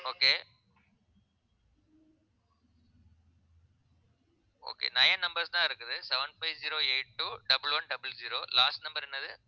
okay okay nine numbers தான் இருக்குது seven five zero eight two double one double zero last number என்னது